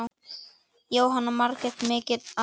Jóhanna Margrét: Mikill arfi?